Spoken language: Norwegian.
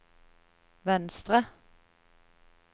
venstre